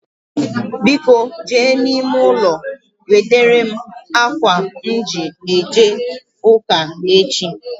Biko jee n'ime ụlọ wetara m ákwà m ji a ga ụ́kà echi